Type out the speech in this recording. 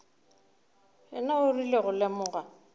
yena o rile go lemoga